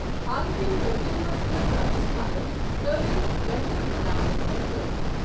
حال کٮ۪ن ورٮ۪ن منٛز کٔر راجستھانن تعلیم بہتر بنانس پٮ۪ٹھ کٲم۔